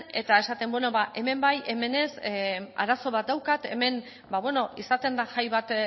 eta esaten hemen bai hemen ez arazo bat daukat hemen izaten da jai bat